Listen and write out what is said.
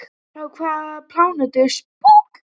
Frá hvaða plánetu er Spock?